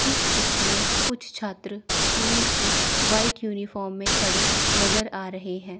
इस चित्र में कुछ छात्र स्कूल की व्हाइट यूनिफॉर्म में खड़े नजर आ रहे हैं।